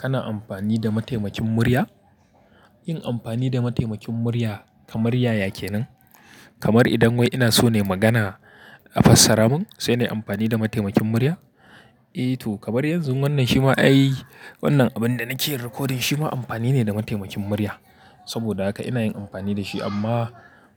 Kana amfani da mataimakin murya? Yin amfani da mataimakin murya kamar yaya kenan? Kamar idan wai ina so nai magana a fassara mun, sai na yi amfani da mataimakin murya? Eh to, kamar yanzu wannan shima ai wannan abin da nake yin recording shima amfani ne da mataimakin murya. Saboda haka ina yin amfani da shi amma